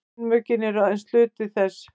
kynmökin eru aðeins hluti þess